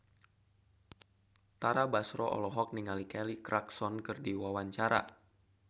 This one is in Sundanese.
Tara Basro olohok ningali Kelly Clarkson keur diwawancara